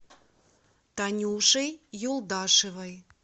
танюшей юлдашевой